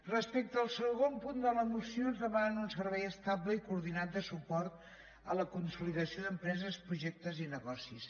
respecte al segon punt de la moció ens demanen un servei estable i coordinat de suport a la consolidació d’empreses projectes i negocis